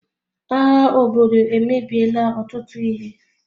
Agha obodo emebiela ọtụtụ ihe.